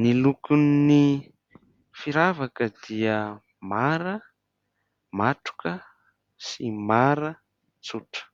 Ny lokon'ny firavaka dia mara matroka sy mara tsotra.